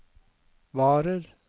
varer